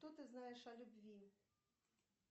что ты знаешь о любви